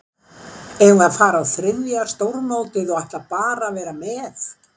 Eigum við að fara inn á þriðja stórmótið og ætla bara að vera með?